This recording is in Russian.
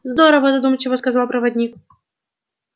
здорово задумчиво сказал проводник